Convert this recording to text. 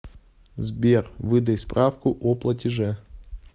сбер выдай справку о платеже